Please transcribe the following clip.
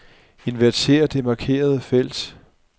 Inverter det markerede felt.